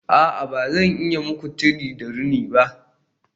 A'a ba zan iya yi muku tire da rini ba